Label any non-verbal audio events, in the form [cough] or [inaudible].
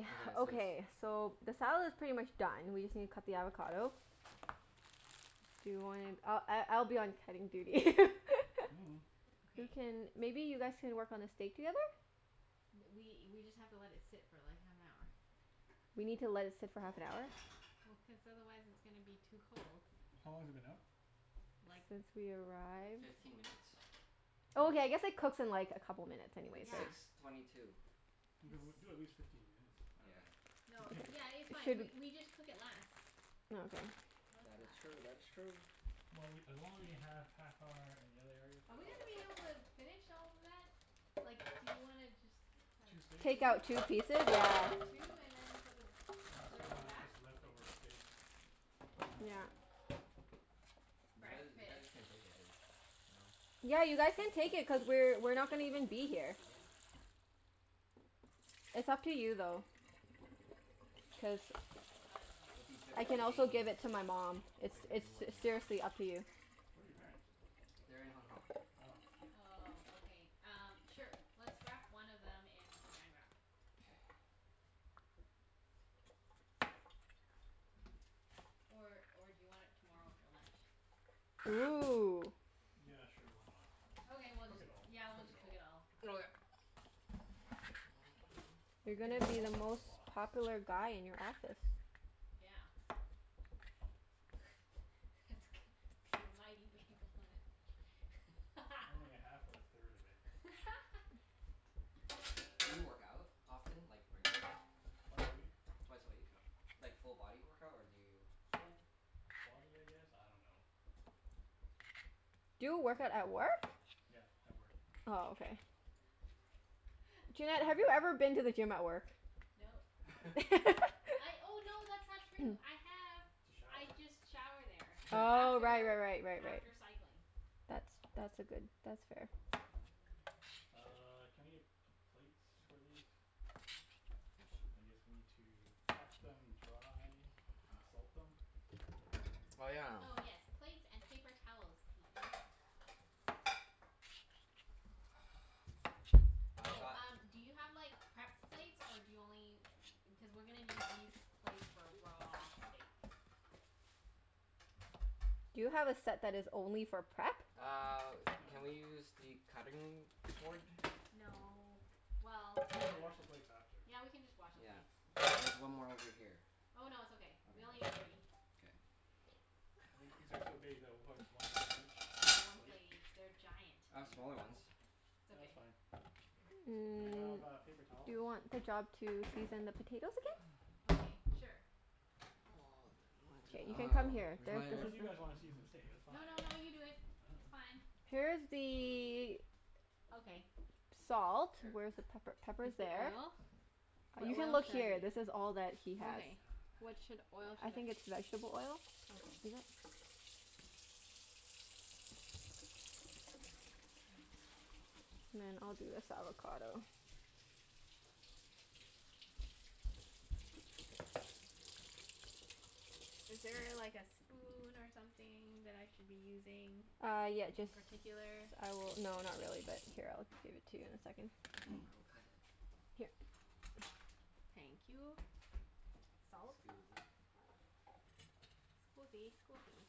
Okay. [noise] Is this Okay, so the salad's pretty much done, we just need to cut the avocado. Do you wanna, I I I'll be on cutting duty. Mm. [laughs] Who Okay. can, maybe you guys can work on the steak together? Th- we we just have to let it sit for like, half an hour. We need to let it sit for half an hour. Well, cuz otherwise it's gonna be too cold. How long has it been out? Like Since we arrived. Fifteen minutes. Oh, okay, Oh. I guess it cooks in like a couple minutes anyways, It's so six Yeah. it's twenty two. Okay, well It's do at least fifteen minutes. I Yeah. dunno. Then No, take it yeah, it's out. It fine. We shouldn't we just cook it less. Oh okay. Cook That is less. true. That is true. Well, we, as long as we have half hour in the other areas Are we're we fine, gonna be right? able to finish all of that? Like, do you wanna just have Two steaks? Take out two? two pieces? Yeah. Two, and then put the Unless we third one wanna back? just leftover steak. I dunno. Yeah. You guys, you guys Breakfast. can take it if, you know? Yeah, you guys can take it cuz we're we're not gonna even be here. Yeah. It's up to you though. Cuz I don't know. It'll be good I for your can also give gains. it to my mom. Looks It's like you've been it's s- working out. seriously up to you. Where are your parents? They're in Hong Kong. Oh. Yeah. Oh, okay. Um, sure. Let's wrap one of them in Saran Wrap. K. Or or do you want it tomorrow for lunch? Ooh. Yeah, sure. Why not? Just Okay, we'll cook just, it all. yeah, we'll Cook it just cook all. it all. Okay. [noise] Oh You're you gonna ha- be the also have a most box. popular guy in your office. Yeah. [laughs] That's gonna be a mighty big lunch. [laughs] Only a half or a third of it. [laughs] Do you work out often? Like, regularly? Twice a week. Twice a week? U- like full body workout, or do you Full body, I guess? I don't know. Do He's you work out very at toned. work? Yeah, at work. Oh, okay. [laughs] Junette, have you ever Mm. been to the gym at work? Nope. [noise] [laughs] [laughs] I, oh no, that's not true. [noise] I have. To shower. I just shower there [laughs] Oh, right after right right right right. after cycling. That's that's a good, that's fair. Uh, can I get p- plates for these? Yeah, su- I guess we need to pat them dry. And salt them? Oh yeah. Oh yes, plates and paper towels please. Which I've Oh, one? got um do you have like, prep plates? Or do you only u- cuz we're gonna need these plates for raw steak. Do you have a set that is only for prep? Uh, No. can we use the cutting board? No. Well, We can I don't wash know. the plates after. Yeah, we can just wash the Yeah. plates. It's There's one more over here. Oh no, it's okay. Okay, We only that's need all? three. K. I think these are so big that we'll probably just one steak There's each one plate? plate each. They're giant. I Yeah. have smaller ones. It's No, that's okay. fine. Do you Mm, have uh, paper do towels? you want the job to season the potatoes again? Okay, sure. [inaudible] K, you Well can come here. There, this is Where's my Unless you the guys wanna season the steak. That's fine. No no no, you [noise] do it. I It's dunno. fine. Here's I dunno. the Okay. salt. Here. [noise] Where's the pepper? Pepper's First the there. oil. But You can oil look here. [inaudible] This is all that he has. Okay. [noise] What should, oil I should think I it's vegetable oil. Okay. Peanut. And then I'll do this avocado. Is there a like a spoon or something that I should be using? Uh, yeah. In Jus- particular? I will, no, not really but here, I'll give it to you in a second. Okay. I [noise] will cut it. Here. Thank you. Salt? Scusi. Scusi, scusi.